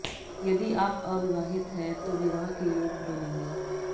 यदि आप अविवाहित है तो विवाह के योग बनेंगे